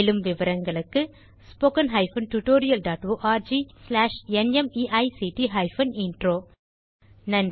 மேலும் விவரங்களுக்கு spoken hyphen tutorial dot org slash NMEICT hyphen intro தமிழாக்கம் பிரியா